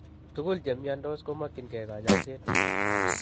Tugul chemiondos komokyinkee kanyoiseet